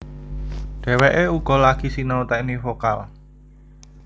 Dheweké uga lagi sinau teknik vokal